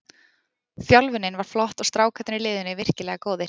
Þjálfunin var flott og strákarnir í liðinu virkilega góðir.